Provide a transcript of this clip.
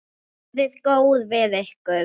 Verið góð við ykkur.